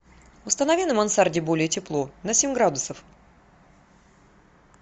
установи на мансарде более тепло на семь градусов